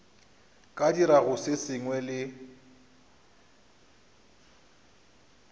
ka dirago se sengwe le